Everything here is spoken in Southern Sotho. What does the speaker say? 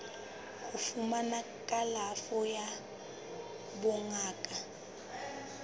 ho fumana kalafo ya bongaka